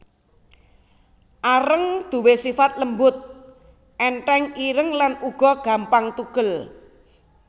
Areng duwé sifat lembut ènthèng ireng lan uga gampang tugel